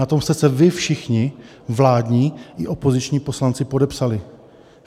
- Na tom jste se vy všichni, vládní i opoziční poslanci, podepsali.